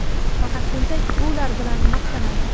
faqat tentak ular bilan maqtanadi.